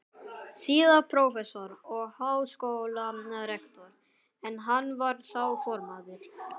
síðar prófessor og háskólarektor, en hann var þá formaður